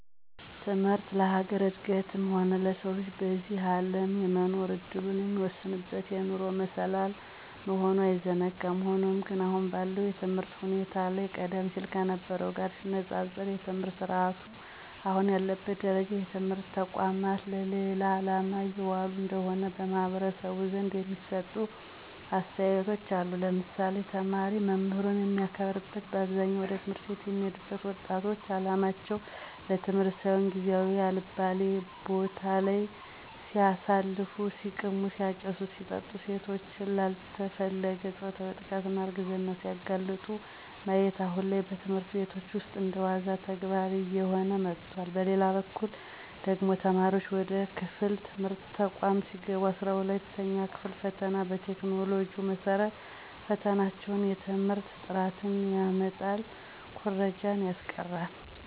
ትምህርት ለሀገር እድገትም ሆነ ለሰው ልጅ በዚህ አለም የመኖር እድሉን የሚወስንበት የኑሮ መሰላል መሆኑ አይዘነጋም። ሆኖም ግን አሁን ባለው የትምህርት ሁኔታ ላይ ቀደም ሲል ከነበርው ጋር ሲነፃፀር የትምህርት ስረአቱ አሁን ያለበት ደረጃ የትምህርት ተቋማት ለሌላ አላማ እየዋሉ እንደሆነ በማህበረሰቡ ዘንድ የሚሰጡ አስተያየቶች አሉ ለምሳሌ፦ ተማሪ መምህሩን የማያከብርበት በአብዛኛው ወደ ት/ቤት የሚሄዱት ወጣቶች አላማቸው ለትምህርት ሳይሆን ጊዚየቸውን አልባሌ ቦታለይ ሲያሳልፉ(ሲቅሙ፣ ሲያጨሱ፣ ሲጠጡ ሴቶች ላልተፈለገ ፆታዊ ጥቃትና እርግዝና ሲጋለጡ)ማየት አሁን ላይ በትምህርት ቤቶች ውስጥ እንደዋና ተግባር እየሆነ መጥቷል። በሌላበኩል ደግሞ ተማሪዋች ወደ ከፍተኛ የትምህርት ተቋማት ሲገቡ 12ኛ ክፍል ፈተና በቴክኖሎጂው መሰረት መፈተናቸው የትምህርት ጥራትን ያመጣል ኩረጃን ያስቀራል።